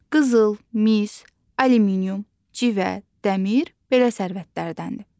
Qızıl, mis, alüminium, civə, dəmir belə sərvətlərdəndir.